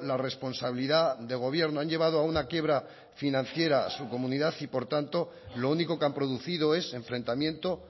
la responsabilidad de gobierno han llevado a una quiebra financiera su comunidad y por tanto lo único que han producido es enfrentamiento